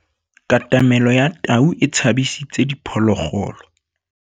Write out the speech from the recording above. Katamêlô ya tau e tshabisitse diphôlôgôlô.